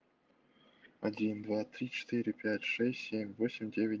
один два три четыре пять шесть семь восемь девять